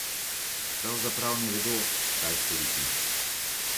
Pravzaprav ne vedo, kaj storiti.